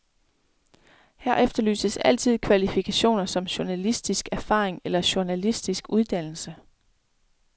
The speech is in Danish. Her efterlyses altid kvalifikationer som journalistisk erfaring eller journalistisk uddannelse.